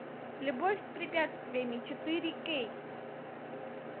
любовь с препятствиями четыре кей